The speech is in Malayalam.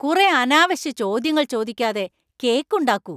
കുറെ അനാവശ്യ ചോദ്യങ്ങൾ ചോദിക്കാതെ കേക്ക് ഉണ്ടാക്കൂ.